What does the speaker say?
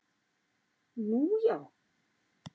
Nú, já